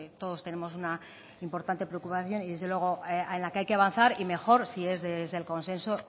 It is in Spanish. todos tenemos una importante preocupación y desde luego en la que hay que avanzar y mejor si es desde el consenso